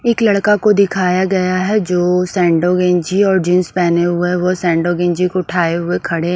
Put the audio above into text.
एक लड़का को दिखाया गया है जो सेंडोगेंजी और जींस पहने हुए वो सेंडोगिंजी को उठाए हुए खड़े --